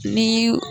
Ni